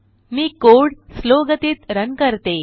मी code slow गतीत run करते